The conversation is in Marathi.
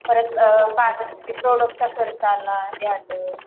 परत पार्लरचा प्रोडक्टचा खर्च आला हे आलं